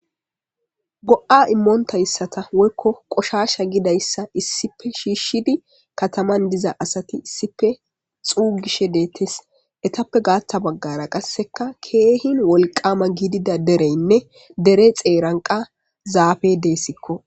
go7a immoontayssata woykko qoshasha gidayssa issipe shiishshidi kataman diza asati issipe xuugishe deettes etappe gaatta baggara qasseka keehin wolqama gidida dereynne dere xeeranqa zaafe deessikko